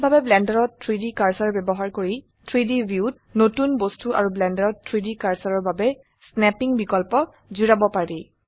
কিভাবে ব্লেন্ডাৰত 3ডি কাৰ্সাৰ ব্যবহাৰ কৰি 3ডি ভিউত নতুন বস্তু আৰু ব্লেন্ডাৰত 3ডি কাৰ্সাৰৰ বাবে স্নেপ্পিং বিকল্প জুড়াব পাৰি